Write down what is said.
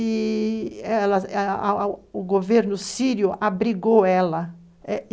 i-i o governo sírio a abrigou ela.